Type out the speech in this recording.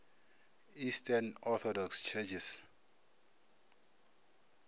eastern orthodox churches